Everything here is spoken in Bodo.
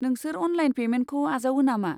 नोंसोर अनलाइन पेमेन्टखौ आजावो नामा?